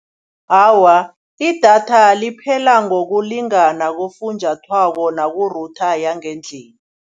Awa idatha liphela ngokulinganako kufunjathwako naku-router yangendlini.